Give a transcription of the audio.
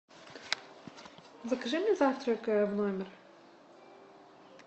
закажи мне завтрак в номер